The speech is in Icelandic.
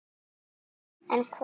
En hvað er þá eftir?